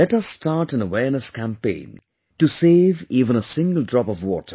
Let us start an awareness campaign to save even a single drop of water